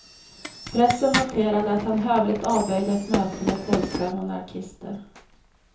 Pressen noterade att han hövligt avböjde ett möte med polska monarkister.